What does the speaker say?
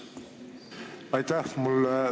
Aitäh!